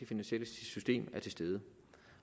finansielle system er til stede